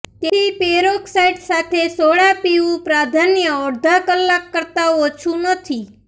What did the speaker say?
તેથી પેરોક્સાઇડ સાથે સોડા પીવું પ્રાધાન્ય અડધા કલાક કરતાં ઓછું નથી